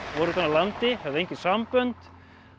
voru utan af landi höfðu engin sambönd